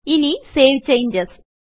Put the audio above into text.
ഇനി save changes